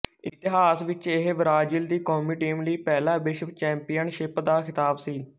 ਇਤਿਹਾਸ ਵਿੱਚ ਇਹ ਬ੍ਰਾਜ਼ੀਲ ਦੀ ਕੌਮੀ ਟੀਮ ਲਈ ਪਹਿਲਾ ਵਿਸ਼ਵ ਚੈਂਪੀਅਨਸ਼ਿਪ ਦਾ ਖਿਤਾਬ ਸੀ